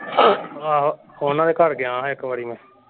ਆਹੋ ਉਹਨਾਂ ਦੇ ਘਰ ਗਿਆ ਹਾਂ ਇਕ ਵਾਰੀ ਮੈਂ।